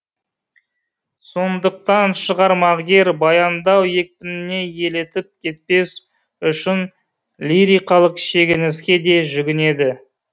сондықтан шығармагер баяндау екпініне елітіп кетпес үшін лирикалық шегініске де жүгінеді